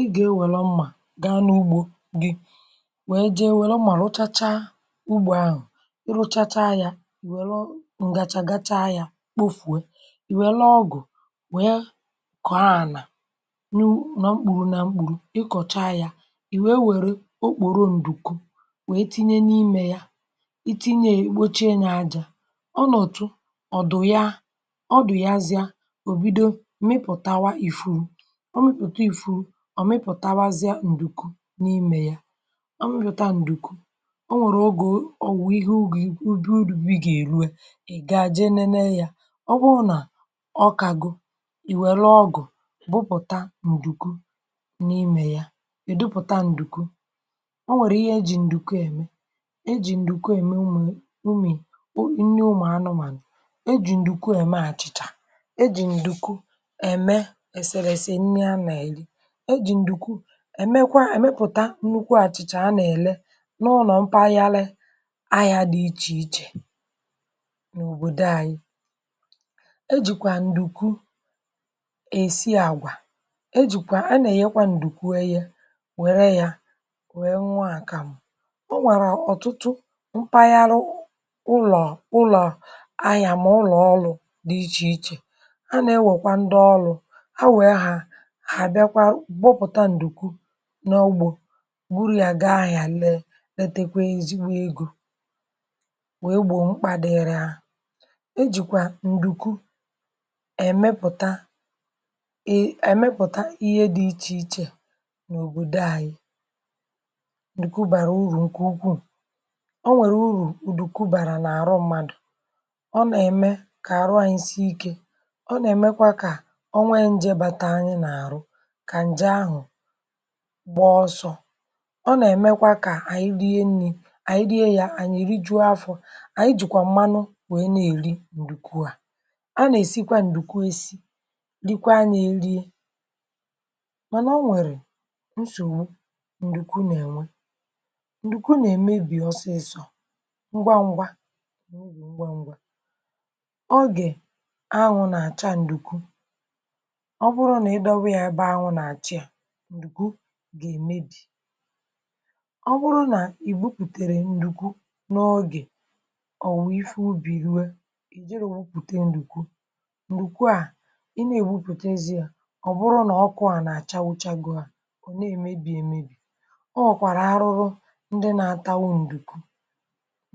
Ị gà-ewere mmà, gàa n’ùgbò gị, wéé jéé wèrè mmà rùchàchá ùgbò ahụ̀. Ị rùchàchá yà, ì wèrè ǹgàchà gàchá yà, kpofùwé. Ị wèrè ọgụ̀, wéé kọ̀ọ ànà, nú nọ́ mkpùrù nà mkpùrù. Ị kọ̀chá yà, ì wéé wèrè okpòrò ǹdùkwù, wéé tinye n’ìmè yà. Ị tìnyè, gbuche yà ajà. Ọ nọ̀tụ, ọ̀ dụ̀ yà, ọ dụ̀ yàzíà, ò bìdò mmịpụ̀tàwá ìfùrù, ọ̀ mịpụ̀tàwázià ǹdùkwù n’ìmè yà, ọ mị̀pụ̀tà ǹdùkwù um. Ọ nwèrè, ọ gòo ọ̀wụ̀ ìhè ùgò, ìké ùbí. Udùbí gà-èrùé, ì gàjì nénè yà. Ọ wụ̀ nà ọkà gị, ì wèlú ọgụ̀, bùpụ̀tà ǹdùkwù n’ìmè yà, ì̀ dụpụ̀tà ǹdùkwù. Ọ nwèrè ìhè ejì ǹdùkwù èmé: ejì ǹdùkwù èmé ùmè, ùmí, í nní, ụmụ̀ anụmànụ̀. Ejì ǹdùkwù èmé àchìchà, ejì ǹdùkwù èmé èsèrèsè, nnyá nà-èrí, èmékwa èmèpụ̀tà ńnụ̀kwú àchìchà. À nà-èlè n’ụnọ́, mpàkàrà ahịa dị iche-iche n’òbòdo anyị. E jìkwà ǹdùkwù èsí àgwà. E jìkwà, à nà-ènyékwà ǹdùkwù, èhè. Wèrè yà, wéé nwààkàmụ̀. Ọ nwèrè ọ̀tụtụ mpàkàrà ụlọ̀ àyà, mà ụlọ̀ ọlụ̄ dị iche-iche. À na-ewèkwà ndị ọlụ̄ à, wéé hà nọgbọ, gbùrù yà, gị ahịa. Lée, n’etèkwè, ezi egò, wéé gbọ̀ mkpà dị̀rị̀ um. À nà me jìkwà ǹdùkwù èmèpụ̀tà ìhè dị iche-iche n’òbòdo anyị. Ǹdùkwù bàrà ùrù ńkè ùkwùú. Ọ nwèrè ùrù ùdùkwù bàrà n’àrụ̀ mmádụ. Ọ nà-èmè kà àrụ̀ ànyị sị ìké, ọ nà-èmékwa kà ọnwa ìnjé bàtà ànyị nà àrụ̀ gbá ọsọ̄. Ọ nà-èmékwa kà ànyị ríé ńní, ànyị ríé yà, ànyị̀ rìjụ afọ̄. Ànyị jìkwà mmànụ̀, wéé nà-èlí ǹdùkwù à um. À nà-èsikwà ǹdùkwù èsí. Dìkwà nà-èlíè, mà nà, ọ nwèrè nsòwú: ǹdùkwù nà-ènwè, ǹdùkwù nà-èmèbì. Ọsịsọ̄, ngwa ngwa, ǹgwá ngwa, ọ gà-anwụ̄ nà-àchá ǹdùkwù. Ọ bụ̀rụ̀ nà ì dọ̀wá yà ebe ànwụ̄ nà-àchì, à gà-èmèbì. Ọ bụ̀rụ̀ nà ì gbùpụ̀tèrè ǹdùkwù n’ọ̀gè, ọ̀ wụ̀ ìfé ùbí, rùwé, ì jìrí̄ òwùpụ̀té ǹdùkwù. Ǹdùkwù à, ì nà-ègbùpụ̀té, èzí yà. Ọ̀ bụ̀rụ̀ nà ọkụ à nà-àchàwùchàgò à, ọ̀ nà-èmèbì èmébì um. Ọ wọ̀kwàrà àrụ̀rù̀ ndị nà-átàghì ǹdùkwù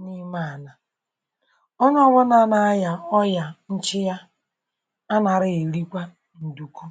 n’ìmè ànà. Ọ nà-ọbụ́nà nà-ànyà, ọ̀yà, nchìá à nà-èrù, èrìkwà ǹdùkwù.